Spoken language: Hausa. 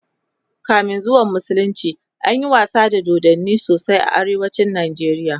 kamin zuwan musulunci anyi wasa da dodanni sosai a arewacin Nigeria